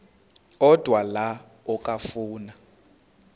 odwa la okafuna